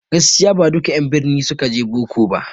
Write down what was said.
Gaskiya ba duka en birni ne suka je boko ba